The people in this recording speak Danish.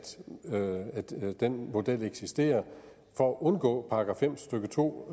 den model eksisterer for at undgå § fem stykke to